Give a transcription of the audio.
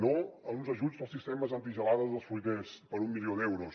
no a uns ajuts als sistemes antigelades dels fruiters per un milió d’euros